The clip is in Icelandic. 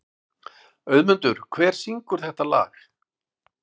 Auðmundur, hver syngur þetta lag?